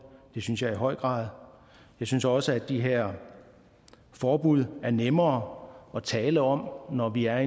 det synes jeg i høj grad jeg synes også at de her forbud er nemmere at tale om når vi er